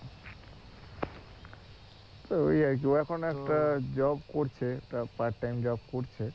তো ওই আর কি এখন একটা job করছে একটা part time করছে